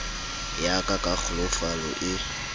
ya ka ka kglofalo e